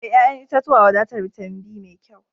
E, ƴa'ƴan itatuwa wadatar bitamin be mai kyau.